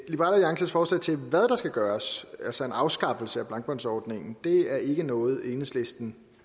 liberal alliances forslag til hvad der skal gøres altså en afskaffelse af blankbåndsordningen er ikke noget enhedslisten